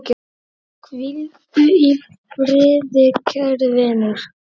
Hvíldu í friði kæri vinur.